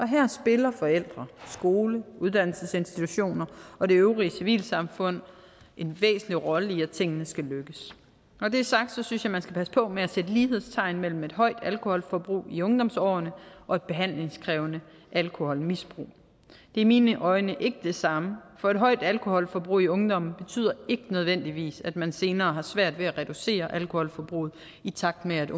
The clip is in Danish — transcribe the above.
her spiller forældre skole uddannelsesinstitutioner og det øvrige civilsamfund en væsentlig rolle i at tingene skal lykkes når det er sagt synes jeg man skal passe på med at sætte lighedstegn mellem et højt alkoholforbrug i ungdomsårene og et behandlingskrævende alkoholmisbrug det er mine øjne ikke det samme for et højt alkoholforbrug i ungdommen betyder ikke nødvendigvis at man senere svært ved at reducere alkoholforbruget i takt med